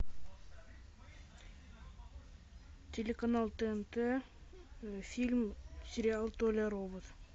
телеканал тнт фильм сериал толя робот